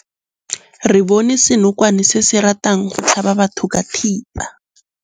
Re bone senokwane se se ratang go tlhaba batho ka thipa.